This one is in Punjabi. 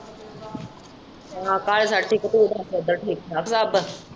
ਹਾਂ ਘਰ ਸਾਰੇ ਠੀਕ ਤੂੰ ਦੱਸ ਉੱਧਰ ਠੀਕ-ਠਾਕ ਸਭ।